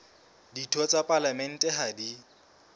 ditho tsa palamente ha di